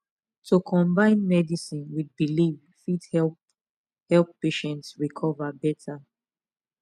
to combine medicine with belief fit help help patient recover better